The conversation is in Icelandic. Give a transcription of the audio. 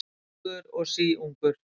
Sjötugur og síungur